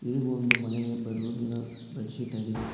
ಇದು ಒಂದು ಮನೆಯ ಬೆಡ್ ರೂಮಿನ ಬೆಡ್ ಶೀಟ್ ಆಗಿದೆ.